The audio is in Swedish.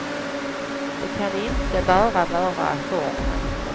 Det kan inte bara vara formen.